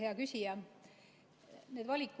Hea küsija!